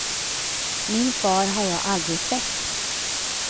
Min far har jag aldrig sett.